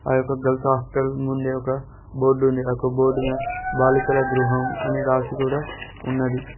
ఆ యొక్క girls hostel ముందే ఒక బోర్డు ఉంది ఆ యొక్క బోర్డు మీద బాలికల గృహం అని రాసి కూడా ఉన్నది